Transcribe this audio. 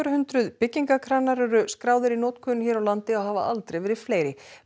hundruð byggingarkranar eru skráðir í notkun hér á landi og hafa aldrei verið fleiri